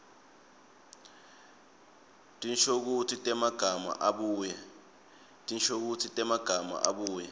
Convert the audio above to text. tinshokutsi temagama abuye